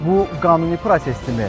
Bu qanuni prosesdirmi?